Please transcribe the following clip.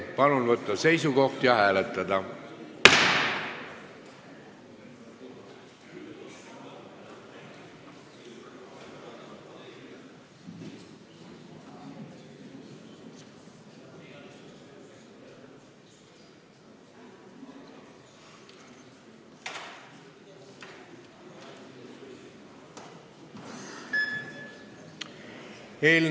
Palun võtta seisukoht ja hääletada!